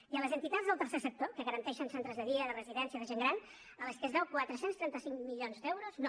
i a les entitats del tercer sector que garanteixen centres de dia i de residència de gent gran a les qual es deuen quatre cents i trenta cinc milions d’euros no